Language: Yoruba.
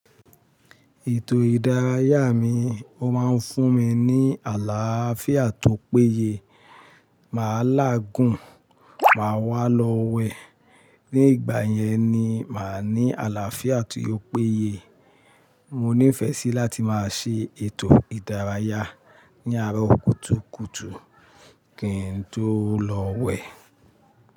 Ètò ìdárayá mi, ó máa ń fún mi ní àlàáfíà tó péye. Màá lágùn, màá wà lọ wẹ̀. Ní ìgbà yẹn ni màá ní àlàáfíà ti ó péye. Mo ní ìfẹ́ sí láti máa ṣe ètò ìdárayá ní àárọ̀ kùtùkùtù kí n tó lọ wẹ̀